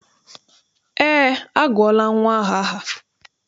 Eé, agụọla nnwa ahụ aha.